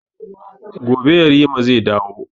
Gobe yarima zai dawo